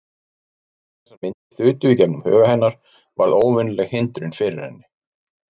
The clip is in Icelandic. Um leið og þessar myndir þutu í gegnum huga hennar varð óvenjuleg hindrun fyrir henni.